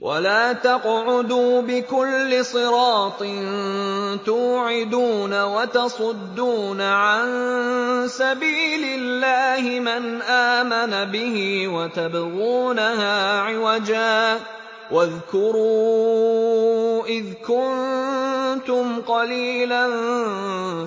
وَلَا تَقْعُدُوا بِكُلِّ صِرَاطٍ تُوعِدُونَ وَتَصُدُّونَ عَن سَبِيلِ اللَّهِ مَنْ آمَنَ بِهِ وَتَبْغُونَهَا عِوَجًا ۚ وَاذْكُرُوا إِذْ كُنتُمْ قَلِيلًا